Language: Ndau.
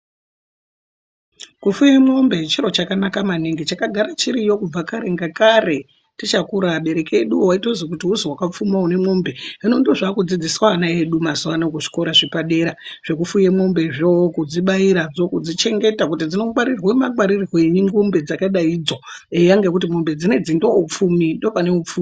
Kufuye mombe chiro chakanaka maningi, chakagara chiriyo kubva kare ngakare, tichakura abereki edu waitozi kuti uziwakapfuma unemombe. Hino ndozvakudzidziswa ana edu mazuva ano kuzvikora zvepadera, zvekufuye mombezvo, kudzibayiradzo, kudzichengeta kuti dzinongwarirwa mangwarirwei, ngombe dzakadaidzo, eya ngekuti mombe dzinoidzi ndoupfumi, ndopane upfumi.